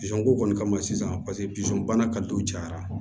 ko kɔni kama sisan paseke bisɔn bana ka don cayara